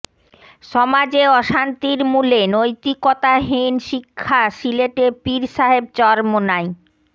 সমাজে অশান্তির মূলে নৈতিকতাহীন শিক্ষা সিলেটে পীর সাহেব চরমোনাই